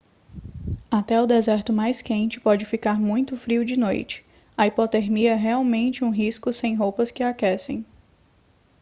até o deserto mais quente pode ficar muito frio de noite a hipotermia é realmente um risco sem roupas que aquecem